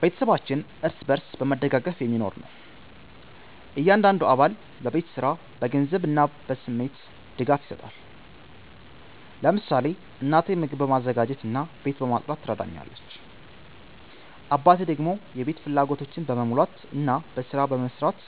ቤተሰባችን እርስ በርስ በመደጋገፍ የሚኖር ነው። እያንዳንዱ አባል በቤት ስራ፣ በገንዘብ እና በስሜት ድጋፍ ይሰጣል። ለምሳሌ እናቴ ምግብ በማዘጋጀት እና ቤት በማጽዳት ትረዳኛለች፣ አባቴ ደግሞ የቤት ፍላጎቶችን በመሙላት እና በስራ በመስራት